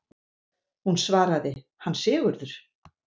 Hún svaraði: Hann Sigurður!